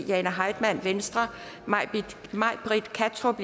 jane heitmann may britt kattrup